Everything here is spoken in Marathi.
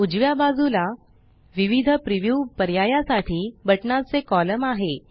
उजव्या बाजूला विविध प्रीव्यू पर्यायासाठी बटनाचे कॉलम आहे